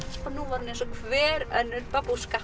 og nú var hún eins og hver önnur